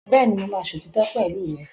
Bẹ́ẹ̀ni, mo máa sòtítọ́ pẹ̀lú rẹ.